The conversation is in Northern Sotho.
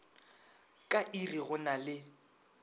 ka iri go na le